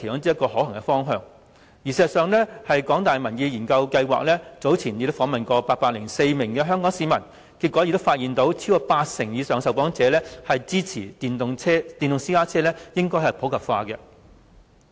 事實上，香港大學民意研究計劃早前訪問了804名香港市民，結果發現超過8成以上受訪者支持電動私家車普及化。